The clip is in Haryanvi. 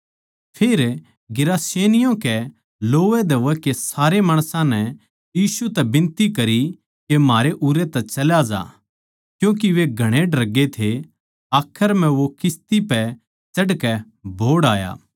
फेर गिरासेनियों कै लोवैधोवै के सारे माणसां नै यीशु तै बिनती करी के म्हारै उरै तै चल्या जा क्यूँके वे घणे डरगे थे आखर म्ह वो किस्ती पै चढ़कै बोहड़ आया